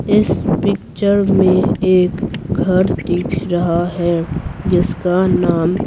इस पिक्चर में एक घर दिख रहा है जिसका नाम--